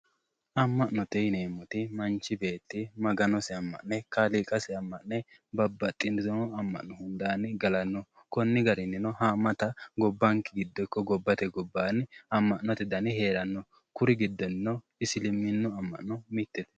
Ama'note yineemmoti Manchi beetti Maganosi ama'ne kaaliiqira sagadani babbaxitino ama'no hundanni gallano konni garininno ama'na gobbanke giddono ikko gobbate gobbanni ama'note danni heerano kuri giddono Isliminu ama'no mittete